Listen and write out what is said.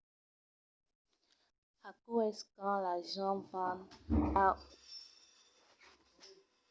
aquò es quand las gents van a un endrech qu’es plan diferent de lor vida rotinièra de cada jorn per se relaxar e se divertir